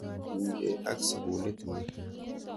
Kotinykei ak sukulit ni.